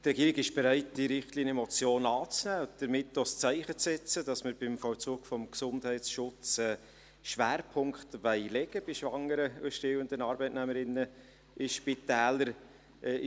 Die Regierung ist bereit, diese Richtlinienmotion anzunehmen und damit auch ein Zeichen zu setzen, dass wir beim Vollzug des Gesundheitsschutzes einen Schwerpunkt bei schwangeren und stillenden Arbeitnehmerinnen in Spitälern legen wollen.